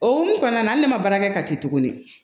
O hokumu kɔnɔna na ne ma baara kɛ kati tuguni